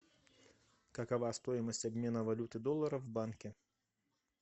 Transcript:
какова стоимость обмена валюты доллара в банке